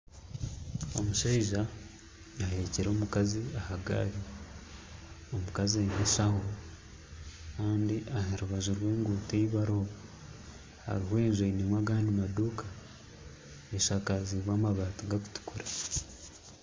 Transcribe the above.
Omushaija aheekire omukazi ahagaari omukazi aine enshaho Kandi aharubaju rw'enguuto eyibariho hariho enju eine agandi maduuka eshakaziibwe amabaati gari kutukura